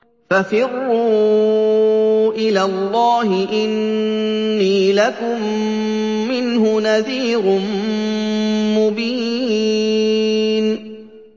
فَفِرُّوا إِلَى اللَّهِ ۖ إِنِّي لَكُم مِّنْهُ نَذِيرٌ مُّبِينٌ